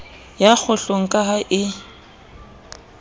ya kgohlong ka ha e